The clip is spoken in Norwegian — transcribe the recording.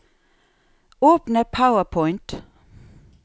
Åpne PowerPoint